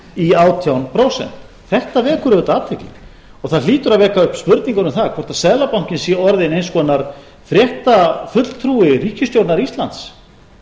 í átján prósent þetta vekur auðvitað athygli og það hlýtur að vekja upp spurninguna um það hvort seðlabankinn sé orðinn eins konar fréttafulltrúi ríkisstjórnar íslands